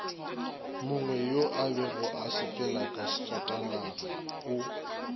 mongweyo abego a sepelaka sefatanagao